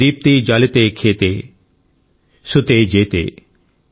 ప్రోదీప్తి జాలితే ఖేతే శుతే జేతే|